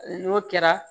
N'o kɛra